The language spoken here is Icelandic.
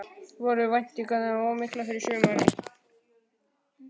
Voru væntingarnar of miklar fyrir sumarið?